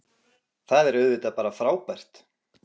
Það er auðvitað bara frábært